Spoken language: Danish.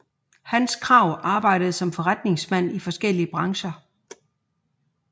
Hans Krag arbejdede som forretningsmand i forskellige brancher